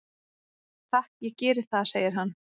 """Takk, ég geri það, segir hann."""